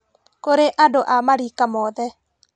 Kũrĩ andũ a marika mothe